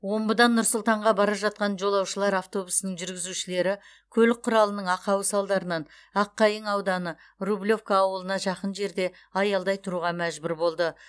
омбыдан нұр сұлтанға бара жатқан жолаушылар автобусының жүргізушілері көлік құралының ақауы салдарынан аққайың ауданы рублевка ауылына жақын жерде аялдай тұруға мәжбүр болды